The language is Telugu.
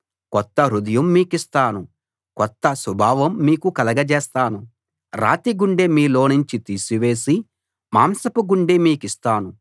కొత్త హృదయం మీకిస్తాను కొత్త స్వభావం మీకు కలగచేస్తాను రాతిగుండె మీలోనుంచి తీసి వేసి మాంసపు గుండె మీకిస్తాను